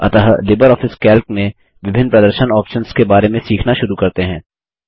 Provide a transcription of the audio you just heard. अतः LibreOffice Calc में विभिन्न प्रदर्शन ऑप्शन्स के बारे में सीखना शुरू करते हैं